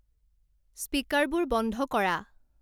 স্পিকাৰবোৰ বন্ধ কৰা